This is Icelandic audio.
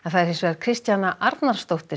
Kristjana Arnarsdóttir